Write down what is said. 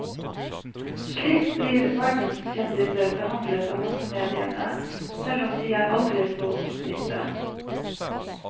Slik blir verdenskjendiser behandlet av massemediene, selv om de er aldri så omstridte.